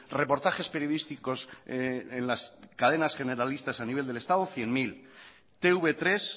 reportajes periodísticos en las cadenas generalistas a nivel del estado cien mil te uve tres